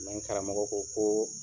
Mɛ n karamɔgɔ ko ko